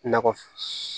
Nakɔ